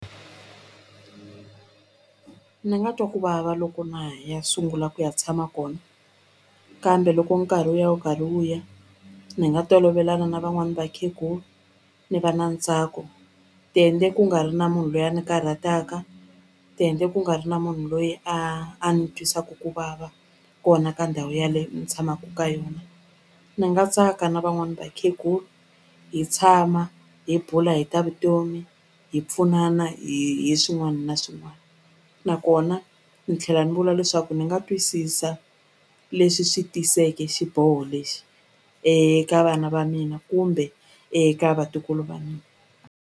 Ni nga twa ku vava loko na ha ya sungula ku ya tshama kona kambe loko nkarhi wu ya wu karhi wu ya ni nga tolovelana na van'wani vakhegulu ni va na ntsako ku nga ri na munhu loyi a ni karhataka ku nga ri na munhu loyi a a ni twisaku ku vava kona ka ndhawu yaleyo ni tshamaku ka yona ni nga tsaka na van'wani vakhegula hi tshama hi bula hi ta vutomi hi pfunana hi hi swin'wani na swin'wani nakona ni tlhela ni vula leswaku ni nga twisisa leswi swi tiseke xiboho lexi eka vana va mina kumbe eka vatukulu va mina.